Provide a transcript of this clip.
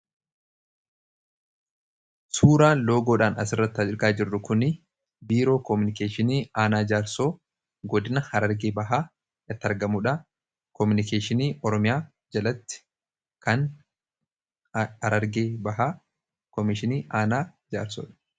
Suuraan loogoodhaan asirratti argaa jirru kun biiroo komunikeeshinii aanaa jaarsoo godina harargee bahaatti argamuudha. Komunikeeshinii Oromiyaa jalatti kan harargee bahaa komishinii aanaa jaarsoodha.